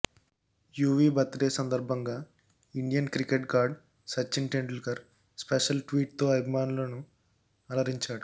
Yuvi birthday సందర్భంగా Indian cricket god Sachin Tendulkar special ట్వీట్తో అభిమానులను అలరించాడు